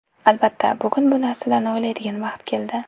Albatta, bugun bu narsalarni o‘ylaydigan vaqt keldi.